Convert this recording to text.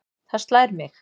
Það slær mig.